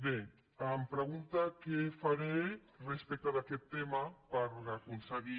bé em pregunta què faré respecte d’aquest tema per aconseguir